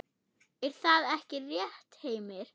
Er það ekki rétt, Heimir?